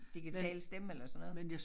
Digital stemme eller sådan noget